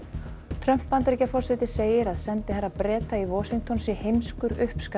Trump Bandaríkjaforseti segir að sendiherra Breta í Washington sé heimskur